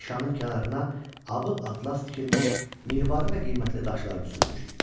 Nişanın kənarına abı atlas tikilmiş, mirvari və qiymətli daşlar düzülmüşdü.